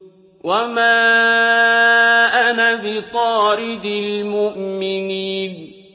وَمَا أَنَا بِطَارِدِ الْمُؤْمِنِينَ